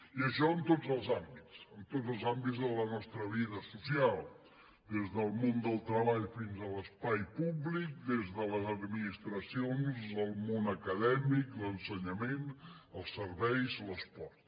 i això en tots els àmbits en tots els àmbits de la nostra vida social des del món del treball fins a l’espai públic des de les administracions al món acadèmic l’ensenyament els serveis l’esport